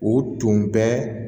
U tun bɛ